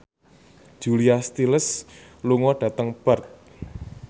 Julia Stiles lunga dhateng Perth